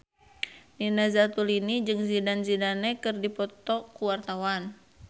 Nina Zatulini jeung Zidane Zidane keur dipoto ku wartawan